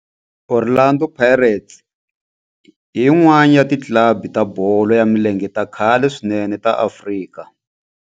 Orlando Pirates i yin'wana ya ti club ta bolo ya milenge ta khale swinene ta Afrika.